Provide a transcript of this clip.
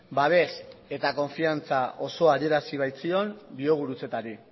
babes eta konfidantza osoa adierazi baitzion biogurutzetari